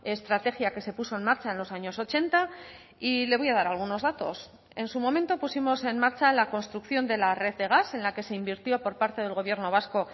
estrategia que se puso en marcha en los años ochenta y le voy a dar algunos datos en su momento pusimos en marcha la construcción de la red de gas en la que se invirtió por parte del gobierno vasco